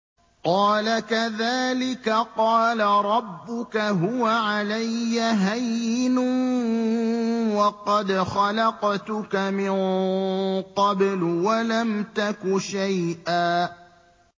قَالَ كَذَٰلِكَ قَالَ رَبُّكَ هُوَ عَلَيَّ هَيِّنٌ وَقَدْ خَلَقْتُكَ مِن قَبْلُ وَلَمْ تَكُ شَيْئًا